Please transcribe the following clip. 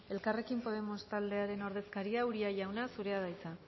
elkarrekin podemos taldearen ordezkaria uria jauna zurea da hitza